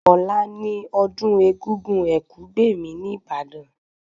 Ọ̀la ni ọdún Egúngún Ẹ̀kúgbèmí ní Ìbàdàn